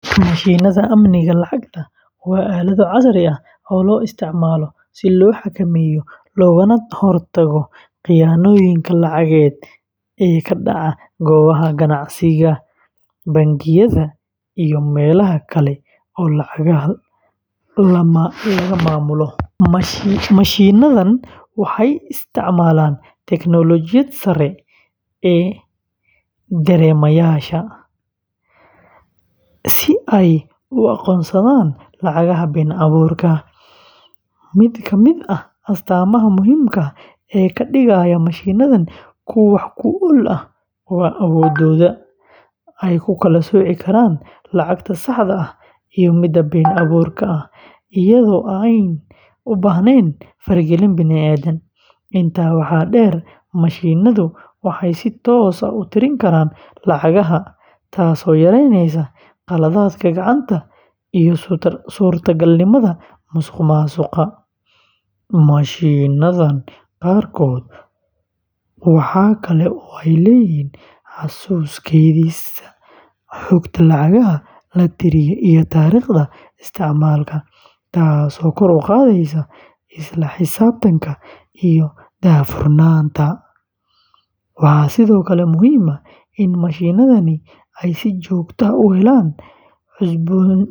Mashiinnada amniga lacagta waa aalado casri ah oo loo isticmaalo si loo xakameeyo loogana hortago khiyaanooyinka lacageed ee ka dhaca goobaha ganacsiga, bangiyada, iyo meelaha kale ee lacagaha la maamulo. Mashiinnadan waxay isticmaalaan teknoolojiyad sare sida dareemayaasha si ay u aqoonsadaan lacagaha been abuurka ah. Mid ka mid ah astaamaha muhiimka ah ee ka dhigaya mashiinnadan kuwo wax ku ool ah waa awooddooda ay ku kala sooci karaan lacagta saxda ah iyo midda been abuurka ah iyadoo aanay u baahnayn faragelin bini’aadam. Intaa waxaa dheer, mashiinnadu waxay si toos ah u tiri karaan lacagaha, taasoo yareyneysa khaladaadka gacanta iyo suurtagalnimada musuqmaasuqa. Mashiinnada qaarkood waxa kale oo ay leeyihiin xasuus kaydisa xogta lacagaha la tiriyay iyo taariikhda isticmaalka, taasoo kor u qaadaysa isla xisaabtanka iyo daahfurnaanta. Waxaa sidoo kale muhiim ah in mashiinnadani ay si joogto ah u helaan cusboonaysiin.